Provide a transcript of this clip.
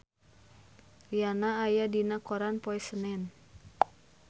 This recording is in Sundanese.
Rihanna aya dina koran poe Senen